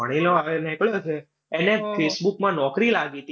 ભણેલો, નેકળ્યો હશે. એને facebook માં નોકરી લાગી હતી.